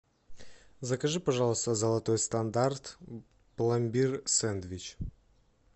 закажи пожалуйста золотой стандарт пломбир сэндвич